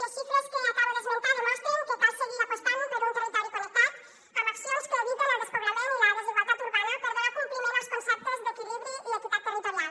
les xifres que acabo d’esmentar demostren que cal seguir apostant per un territori connectat amb accions que eviten el despoblament i la desigualtat urbana per donar compliment als conceptes d’equilibri i equitat territorial